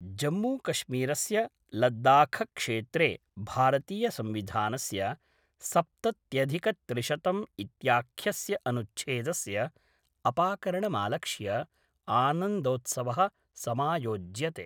जम्मूकश्मीरस्य लद्दाखक्षेत्रे भारतीय संविधानस्य सप्तत्यधिकत्रिशतम् इत्याख्यस्य अनुच्छेदस्य अपाकरणमालक्ष्य आनन्दोत्सवः समायोज्यते।